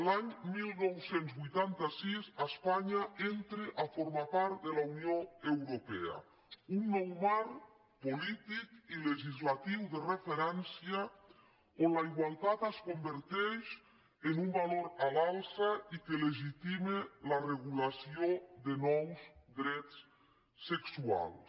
l’any dinou vuitanta sis espanya entra a formar part de la unió europea un nou marc polític i legislatiu de referència on la igualtat es converteix en un valor a l’alça i que legitima la regulació de nous drets sexuals